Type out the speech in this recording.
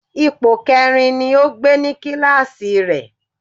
Ipò kẹrin ni ó gbé ní kíláàsì rẹ̀